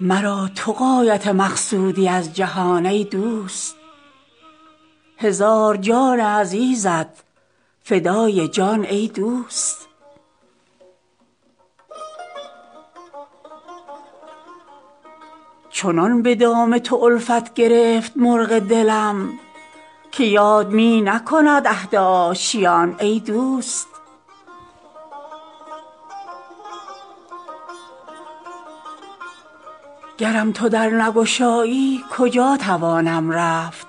مرا تو غایت مقصودی از جهان ای دوست هزار جان عزیزت فدای جان ای دوست چنان به دام تو الفت گرفت مرغ دلم که یاد می نکند عهد آشیان ای دوست گرم تو در نگشایی کجا توانم رفت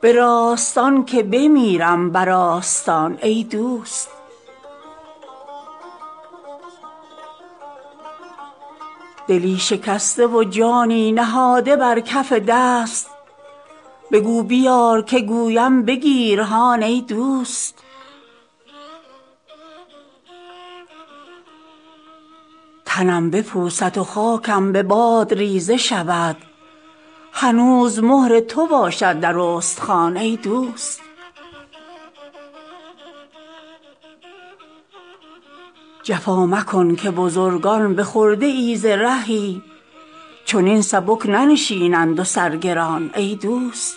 به راستان که بمیرم بر آستان ای دوست دلی شکسته و جانی نهاده بر کف دست بگو بیار که گویم بگیر هان ای دوست تنم بپوسد و خاکم به باد ریزه شود هنوز مهر تو باشد در استخوان ای دوست جفا مکن که بزرگان به خرده ای ز رهی چنین سبک ننشینند و سر گران ای دوست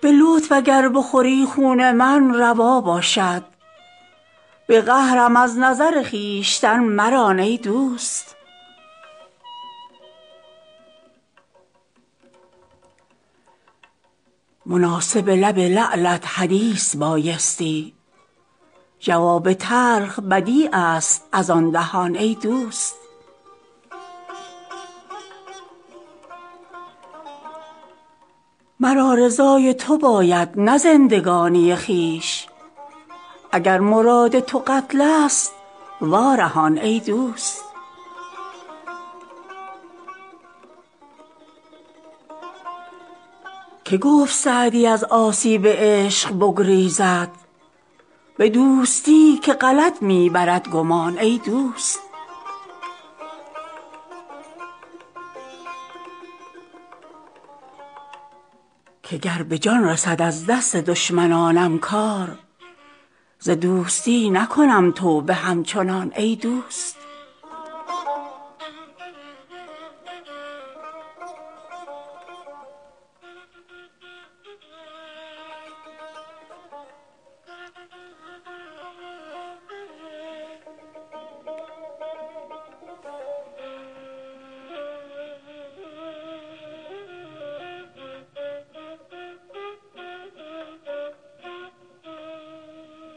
به لطف اگر بخوری خون من روا باشد به قهرم از نظر خویشتن مران ای دوست مناسب لب لعلت حدیث بایستی جواب تلخ بدیع است از آن دهان ای دوست مرا رضای تو باید نه زندگانی خویش اگر مراد تو قتل ست وا رهان ای دوست که گفت سعدی از آسیب عشق بگریزد به دوستی که غلط می برد گمان ای دوست که گر به جان رسد از دست دشمنانم کار ز دوستی نکنم توبه همچنان ای دوست